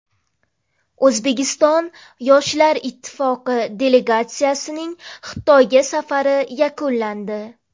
O‘zbekiston yoshlar ittifoqi delegatsiyasining Xitoyga safari yakunlandi.